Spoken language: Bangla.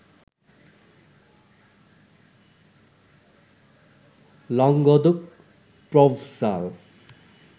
Languedoc, Provencal